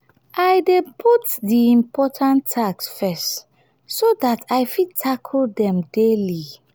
i dey put di important tasks first so dat i fit tackle dem daily